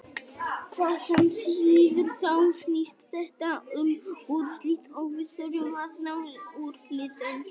Hvað sem því líður þá snýst þetta um úrslit og við þurfum að ná úrslitum.